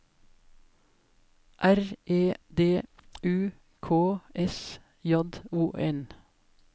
R E D U K S J O N